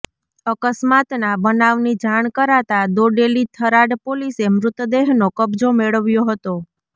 અકસ્માતના બનાવની જાણ કરાતા દોડેલી થરાદ પોલીસે મૃતદેહનો કબજો મેળવ્યો હતો